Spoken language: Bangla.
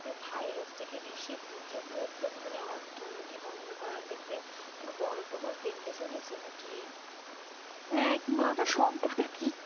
ভাইরাস থেকে বেশি দ্বিতীয় বৃহত্তম মানে অর্থ উন্নতি বন্ধ করার ক্ষেত্রে কোনো বড়ো প্রভাব ফেলতে চলেছে নাকি! হ্যাঁ, কি বলতো সব বোধহয় ঠিক ই।